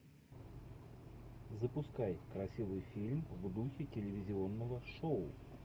запускай красивый фильм в духе телевизионного шоу